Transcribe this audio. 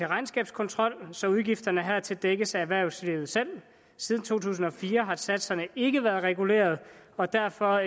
regnskabskontrol så udgifterne hertil dækkes af erhvervslivet selv siden to tusind og fire har satserne ikke være reguleret og derfor